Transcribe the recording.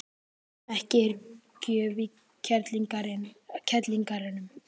Ekki er gjöf í kerlingareyranu.